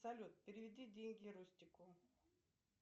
салют переведи деньги рустику